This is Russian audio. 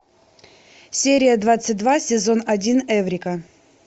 серия двадцать два сезон один эврика